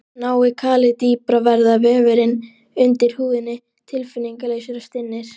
Nái kalið dýpra verða vefirnir undir húðinni tilfinningalausir og stinnir.